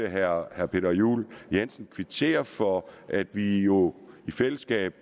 at herre peter juel jensen kvitterer for at vi jo i fællesskab